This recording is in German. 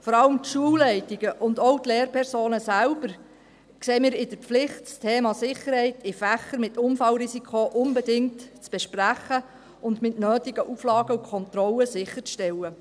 Wir sehen vor allem die Schulleitungen und auch die Lehrpersonen selbst in der Pflicht, das Thema Sicherheit in Fächern mit Unfallrisiko unbedingt zu besprechen und mit den nötigen Auflagen und Kontrollen sicherzustellen.